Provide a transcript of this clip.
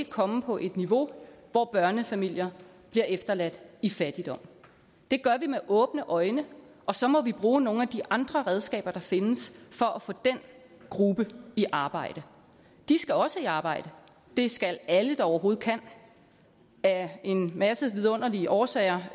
komme på et niveau hvor børnefamilier bliver efterladt i fattigdom det gør vi med åbne øjne og så må vi bruge nogle af de andre redskaber der findes for at få den gruppe i arbejde de skal også i arbejde det skal alle der overhovedet kan af en masse vidunderlige årsager